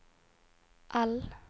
L